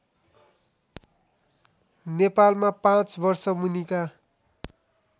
नेपालमा पाँच वर्षमुनिका